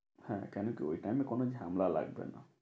হ্যাঁ কেন কি ওই time এ কোনো ঝামেলা লাগবে না।